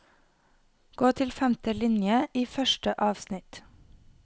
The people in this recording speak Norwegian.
Gå til femte linje i første avsnitt